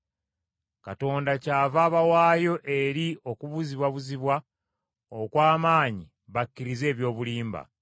Katonda kyava abawaayo eri okubuzibwabuzibwa okw’amaanyi bakkirize eby’obulimba.